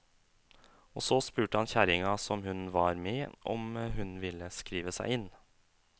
Og så spurte han kjerringa, som hun var med, om hun ville skrive seg inn.